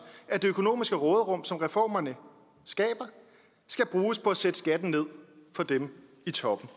at det økonomiske råderum som reformerne skaber skal bruges på at sætte skatten ned for dem i toppen